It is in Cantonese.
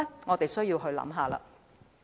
我們需要思考一下。